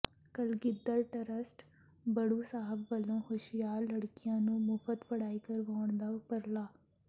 Kalgidhar trust Baru Sahib ਵੱਲੋਂ ਹੁਸ਼ਿਆਰ ਲੜਕੀਆਂ ਨੂੰ ਮੁਫ਼ਤ ਪੜ੍ਹਾਈ ਕਰਵਾਉਣ ਦਾ ਉਪਰਾਲਾ